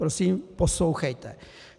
- Prosím poslouchejte: